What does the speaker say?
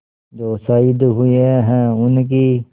जो शहीद हुए हैं उनकी